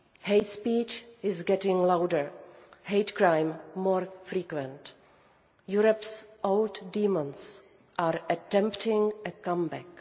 Hate speech is getting louder, hate crime more frequent. Europe's old demons are attempting a comeback.